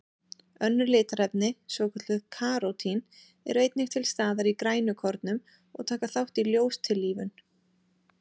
Önnur litarefni, svokölluð karótín, eru einnig til staðar í grænukornum og taka þátt í ljóstillífun.